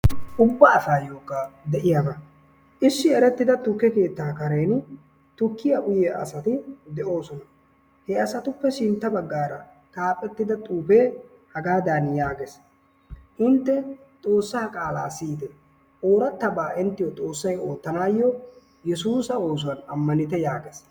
Ubba asaayyokka de'iyaba. Issi erettida tukke keettaa kareeni tukkiya uyiya asati de'oosona. He asatuppe sintta baggaara xaafettida xuufee hagaadaani yaagees. Intte xoossaa qaalaa siyite. Oorattabaa inttiyo xoossay oottanaayyo yesuusa oosuwan ammanite yaagees.